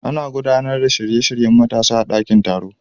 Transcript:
Ana gudanar da shirye-shiryen matasa a dakin taro.